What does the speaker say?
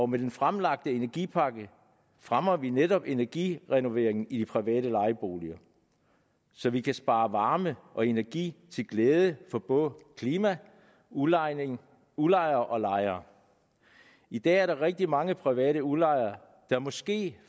med den fremlagte energipakke fremmer vi netop energirenoveringen i de private lejeboliger så vi kan spare varme og energi til glæde for både klima udlejere udlejere og lejere i dag er der rigtig mange private udlejere der måske